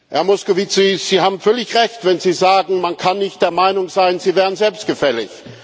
Herr Moscovici, Sie haben völlig Recht, wenn Sie sagen, man kann nicht der Meinung sein, Sie wären selbstgefällig.